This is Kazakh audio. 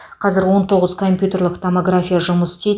қазір он тоғыз компьютерлік томография жұмыс істейді